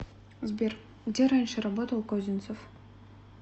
сбер где раньше работал козинцев